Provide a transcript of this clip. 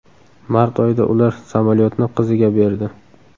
Mart oyida ular samolyotni qiziga berdi.